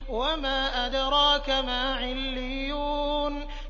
وَمَا أَدْرَاكَ مَا عِلِّيُّونَ